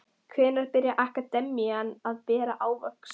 Hvenær byrjar akademían að bera ávöxt?